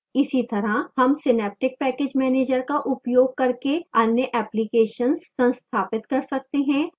इसी तरह हम synaptic package manager का उपयोग करके अन्य applications संस्थापित कर सकते हैं